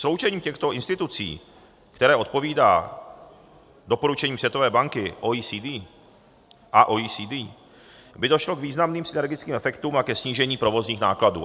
Sloučením těchto institucí, které odpovídá doporučením Světové banky a OECD, by došlo k významným synergickým efektům a ke snížení provozních nákladů.